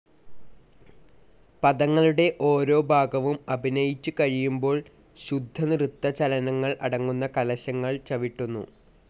പദങ്ങളുടെ ഓരോ ഭാഗവും അഭിനയിച്ചുകഴിയുമ്പോൾ ശുദ്ധനൃത്തചലനങ്ങൾ അടങ്ങുന്ന കലശങ്ങൾ ചവിട്ടുന്നു.